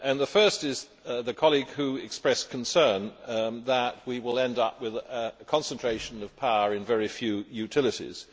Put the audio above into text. The first is the colleague who expressed concern that we will end up with a concentration of power in very few utilities.